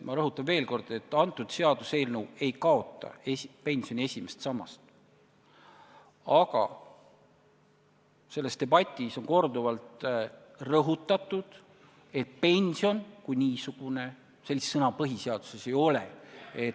Ma rõhutan veel kord, et see seaduseelnõu ei kaota pensioni esimest sammast, aga selles debatis on korduvalt rõhutatud, et pension kui niisugune – sellist sõna põhiseaduses ei ole.